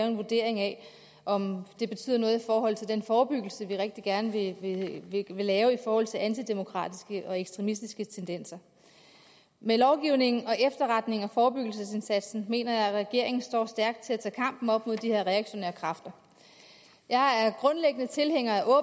en vurdering af om det betyder noget i forhold til den forebyggelse vi rigtig gerne vil lave i forhold til antidemokratiske og ekstremistiske tendenser med lovgivningen og efterretningerne og forebyggelsesindsatsen mener jeg regeringen står stærkt til at tage kampen op mod de her reaktionære kræfter jeg er grundlæggende tilhænger af